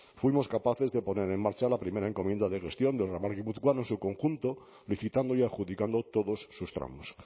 fuimos capaces de poner en marcha la primera encomienda de gestión del ramal guipuzcoano en su conjunto licitando y adjudicando todos sus tramos